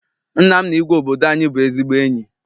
Nna m na igwe obodo anyị bụ ezigbo enyi.